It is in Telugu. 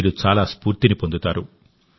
మీరు చాలా స్ఫూర్తిని పొందుతారు